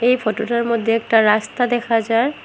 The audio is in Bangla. এই ফটোটার মধ্যে একটা রাস্তা দেখা যার--